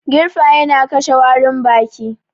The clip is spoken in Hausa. Girfa yana kashe warin baki